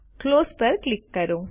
close પર click કરો